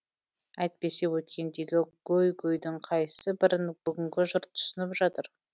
әйтпесе өткендегі гөй гөйдің қайсы бірін бүгінгі жұрт түсініп жатыр